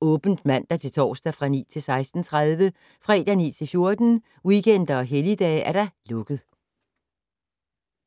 åbent mandag-torsdag 9.00-16.30, fredag 9.00-14.00, weekender og helligdage: lukket.